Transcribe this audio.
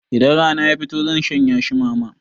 Idan rana ya fito zan shanyashi mama.